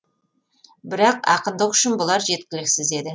бірақ ақындық үшін бұлар жеткіліксіз еді